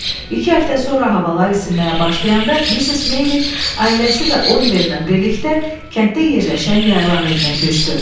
İki həftə sonra havalar isinməyə başlayanda Missis Meyli ailəsi və Oliverlə birlikdə kənddə yerləşən yaylaq evinə köçdü.